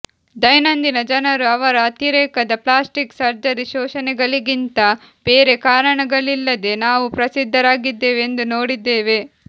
ದೈನಂದಿನ ಜನರು ಅವರ ಅತಿರೇಕದ ಪ್ಲ್ಯಾಸ್ಟಿಕ್ ಸರ್ಜರಿ ಶೋಷಣೆಗಳಿಗಿಂತ ಬೇರೆ ಕಾರಣಗಳಿಲ್ಲದೆ ನಾವು ಪ್ರಸಿದ್ಧರಾಗಿದ್ದೇವೆ ಎಂದು ನೋಡಿದ್ದೇವೆ